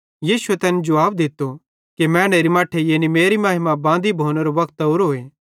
यीशुए तैन जुवाब दित्तो कि मैनेरे मट्ठेरी यानी मेरी महिमा बांदी भोनेरो वक्त ओरोए